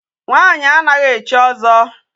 Nwaanyị anaghị echi ọzọ.